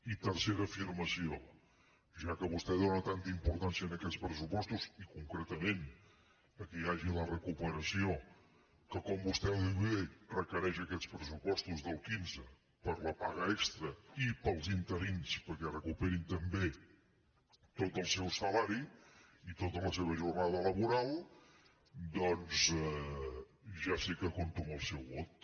i tercera afirmació ja que vostè dóna tanta importància a aquests pressupostos i concretament al fet que hi hagi la recuperació que com vostè diu bé requereix aquests pressupostos del quinze per a la paga extra i per als interins perquè recuperin també tot el seu salari i tota la seva jornada laboral doncs ja sé que compto amb el seu vot